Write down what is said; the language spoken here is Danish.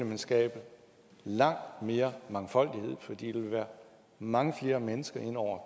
man skabe langt mere mangfoldighed fordi der vil være mange flere mennesker inde over